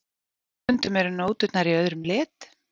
Stundum eru nóturnar í öðrum lit.